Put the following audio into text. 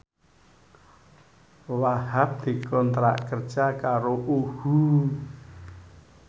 Wahhab dikontrak kerja karo UHU